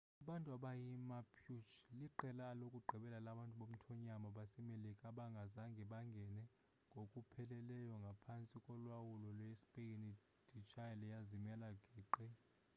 abantu abayimapuche liqela lokugqibela labantu bomthonyama basemelika abangazange bangene ngokupheleleyo phantsi kolawulo lwespeyini de ichile yazimela geqe